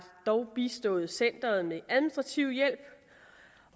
dog bistået centeret med administrativ hjælp